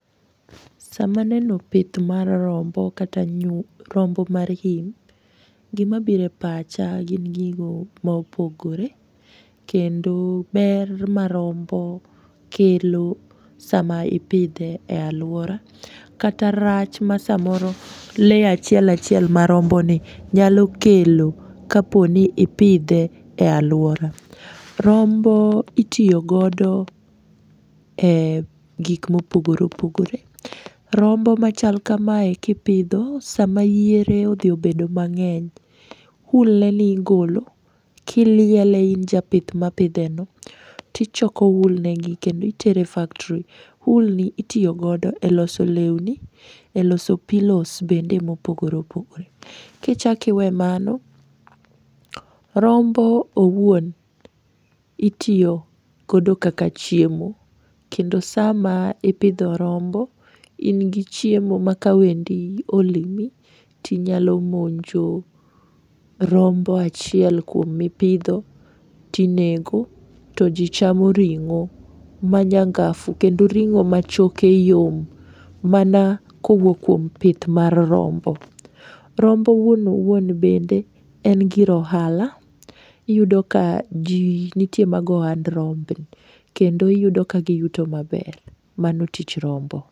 Sama aneno pith mar rombo kata rombo mar im gima bire pacha gin gigo maopogore kendo ber ma rombo kelo sama ipidhe e alwora kata rach ma samoro lee achiel achiel ma romboni nyalo kelo kaponi ipidhe e alwora. Rombo itiyo godo e gik mopogore opogore. Rombo machal kamae kipidho sama yiere odhi obedo mang'eny wool neni igolo kiliele in japith mapidheni tichoko wool negi kendo itere factory. Wool ni itiyo godo e loso leuni,e loso pillows bende mopogore opogore. Kichakiwee mano, rombo owuon itiyo kodo kaka chiemo kendo sama ipidho rombo ingi chiemo ma ka wendi olimi tinyalo monjo rombo achiel kuom mipidho tinego to jii chamo ring'o manyangafu kendo ring'o machoke yom mana kowuok kuom pith mar rombo. Rombo owuon owuon bende en gir ohala iyudo ka ji nitie mago ohand rombni kendo iyudo ka giyuto maber. Mano tich rombo.